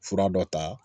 Fura dɔ ta